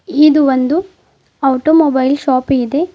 ಇದು ಒಂದು automobile shop ಇದೆ.